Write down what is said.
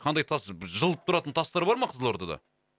қандай тас жылып тұратын тастар бар ма қызылордада